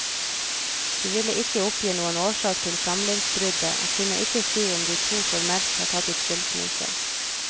De ville ikke oppgi noen årsak til samlivsbruddet, og kunne ikke si om de to formelt har tatt ut skilsmisse.